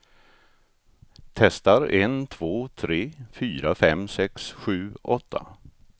Testar en två tre fyra fem sex sju åtta.